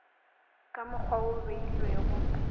ka mokgwa wo o beilwego